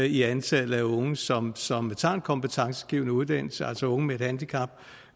i antallet af unge som som tager en kompetencegivende uddannelse altså unge med et handicap